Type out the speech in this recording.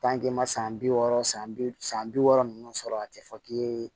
ma san bi wɔɔrɔ san bi san bi wɔɔrɔ ninnu sɔrɔ a tɛ fɔ k'i yee